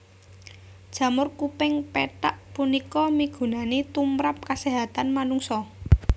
Jamur kuping pethak punika migunani tumprap kaséhatan manungsa